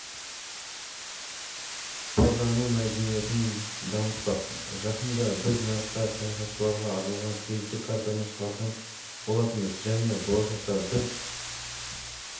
пайдалану мәдениетін дамытпақ жақында біз нарыққа саяхатшыларға арналған кредиттік картаны шығарған болатынбыз және болашақта біз